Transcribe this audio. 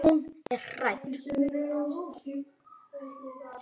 Hún er hrædd.